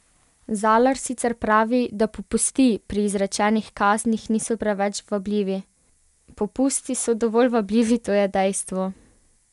Zalar sicer pravi, da "popusti" pri izrečenih kaznih niso preveč vabljivi: "Popusti so dovolj vabljivi, to je dejstvo.